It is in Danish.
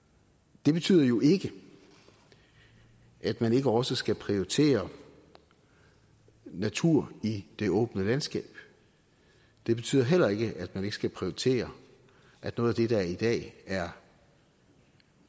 det betyder jo ikke at man ikke også skal prioritere natur i det åbne landskab det betyder heller ikke at man ikke skal prioritere at noget af det der i dag er